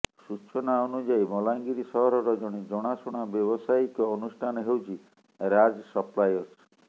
ସୂଚନା ଅନୁଯାୟୀ ବଲାଙ୍ଗୀର ସହରର ଜଣେ ଜଣାଶୁଣା ବ୍ୟବସାୟିକ ଅନୁଷ୍ଠାନ ହେଉଛି ରାଜ ସପ୍ଲାୟର୍ସ